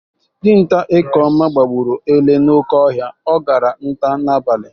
Dinta Ekeoma gbagburu ele n'oke ọhịa ọ gara nta n'abalị